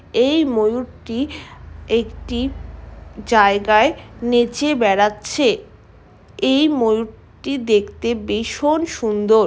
এই ময়ূরটি একটি জায়গায় নেচে বেড়াচ্ছে এই ময়ূরটি দেখতে বিষণ সুন্দোর।